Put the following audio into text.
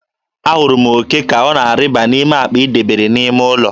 Ahụrụ m òké ka ọ na-arịba n'akpa ị debere n'ime ụlọ.